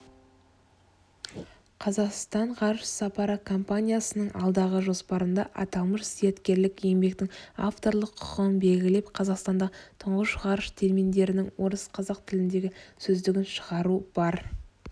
қазақстан ғарыш сапары компаниясының алдағы жоспарында аталмыш зияткерлік еңбектің авторлық құқығын белгілеп қазақстандағы тұңғыш ғарыш терминдерінің орыс-қазақ тіліндегі сөздігін шығару бар